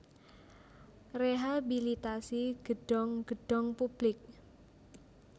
Rehabilitasi gedhong gedhong publik